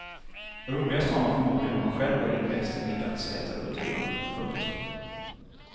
Roligast har man förmodligen om man själv är inväxt i middagsätarkulturen. punkt